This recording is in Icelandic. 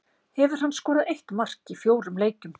Hefur hann skorað eitt mark í fjórum leikjum.